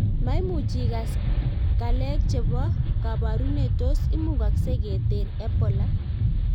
Maimuchi igas kalek chebo kabarunet tos imugaksei ketar Ebola?